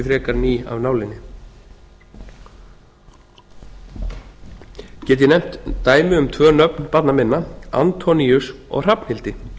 frekar ný af nálinni gt ég nefnt dæmi um tvö nöfn barna minna antoníus og hrafnhildur